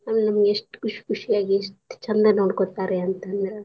ಅಂದ್ರ ನಮ್ಗ ಎಷ್ಟ್ ಕುಶಿ ಕುಶಿ ಎಷ್ಟ್ ಚಂದ್ ನೋಡ್ಕೋತಾರೀ ಅಂತಂದ್ರ.